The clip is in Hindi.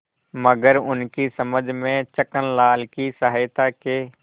मगर उनकी समझ में छक्कनलाल की सहायता के